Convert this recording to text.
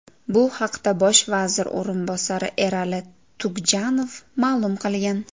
Bu haqda bosh vazir o‘rinbosari Erali Tugjanov ma’lum qilgan .